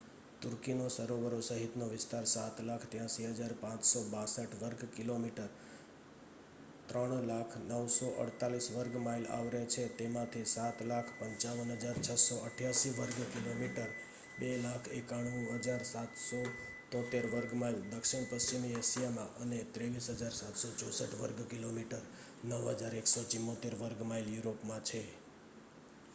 તુર્કીનો સરોવરો સહિતનો વિસ્તાર 7,83,562 વર્ગ કિલોમીટર 300,948 વર્ગ માઇલ આવરે છે જેમાંથી 7,55,688 વર્ગ કિલોમીટર 2,91,773 વર્ગ માઇલ દક્ષિણ પશ્ચિમી એશિયામાં અને 23,764 વર્ગ કિલોમીટર 9,174 વર્ગ માઇલ યુરોપમાં છે